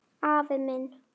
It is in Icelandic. Afi minn.